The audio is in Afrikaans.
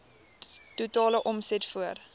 totale omset voor